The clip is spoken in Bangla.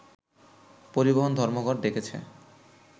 পরিবহন ধর্মঘট ডেকেছে